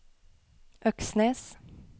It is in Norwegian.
Øksnes